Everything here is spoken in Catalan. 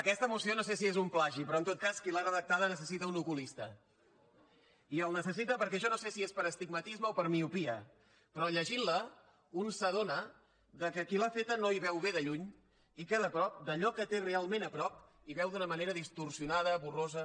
aquesta moció no sé si és un plagi però en tot cas qui l’ha redactada necessita un oculista i el necessita perquè jo no sé si és per astigmatisme o per miopia però llegint la un s’adona que qui l’ha feta no hi veu bé de lluny i que de prop d’allò que té realment a prop hi veu d’una manera distorsionada borrosa